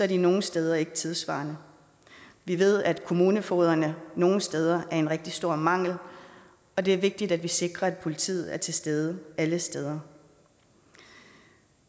de nogle steder ikke tidssvarende vi ved at kommunefogederne nogle steder er en rigtig stor mangel og det er vigtigt at vi sikrer at politiet er til stede alle steder